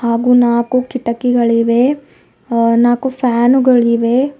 ಹಾಗು ನಾಕು ಕಿಟಕಿಗಳಿವೆ ಆ ನಾಕು ಫ್ಯಾನುಗಳಿವೆ.